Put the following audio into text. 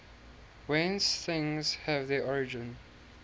whence things have their origin